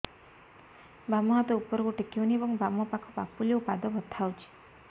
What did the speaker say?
ବାମ ହାତ ଉପରକୁ ଟେକି ହଉନି ଏବଂ ବାମ ପାଖ ପାପୁଲି ଓ ପାଦ ବଥା ହଉଚି